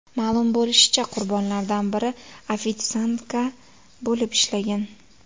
Ma’lum bo‘lishicha, qurbonlardan biri ofitsiantka bo‘lib ishlagan.